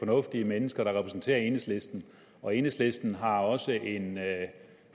fornuftige mennesker der repræsenterer enhedslisten og enhedslisten har også en